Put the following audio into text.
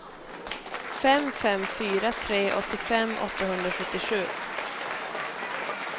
fem fem fyra tre åttiofem åttahundrasjuttiosju